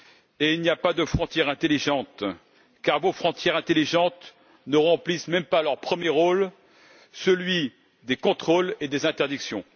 Et il n'y a pas de frontière intelligente, car vos frontières intelligentes ne remplissent même pas leur premier rôle, celui des contrôles et des interdictions.